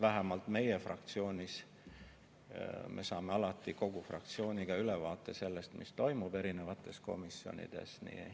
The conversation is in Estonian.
Vähemalt meie saame oma fraktsioonis alati kogu fraktsiooniga ülevaate sellest, mis toimub erinevates komisjonides.